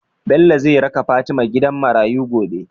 Bello zai raka fatima gidan marayu gobe?